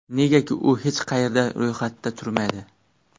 Negaki, u hech qayerda ro‘yxatda turmaydi.